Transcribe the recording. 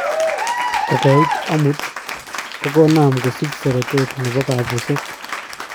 Kokoit amut, kokonam kosich seretet nepo kapuset